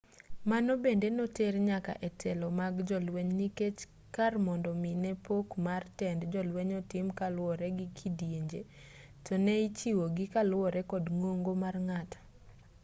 mano bende noter nyaka e telo mag jolweny nikech kar mondo mi ne pok mar tend jolweny otim kaluwore gi kidienje to ne ichiwo gi kaluwore kod ng'ongo mar ng'ato